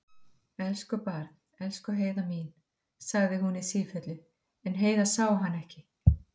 Elsku barn, elsku Heiða mín, sagði hún í sífellu, en Heiða sá hana ekki.